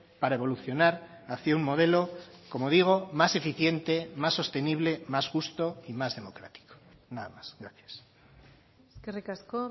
para evolucionar hacia un modelo como digo más eficiente más sostenible más justo y más democrático nada más gracias eskerrik asko